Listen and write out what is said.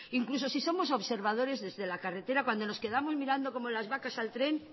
incluso si somos observadores desde la carretera cuando nos quedamos mirando las vacas al tren